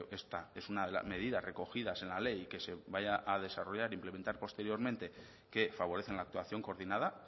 esta es una de las medidas recogidas en la ley que se vaya a desarrollar implementar posteriormente que favorecen la actuación coordinada